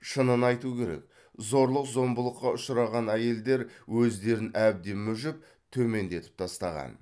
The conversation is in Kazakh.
шынын айту керек зорлық зомбылыққа ұшыраған әйелдер өздерін әбден мүжіп төмендетіп тастаған